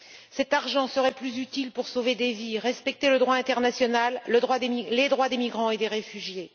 Cet argent serait plus utile pour sauver des vies et respecter le droit international ainsi que les droits des migrants et des réfugiés.